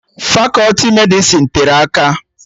Fakọti Medịsịn tere aka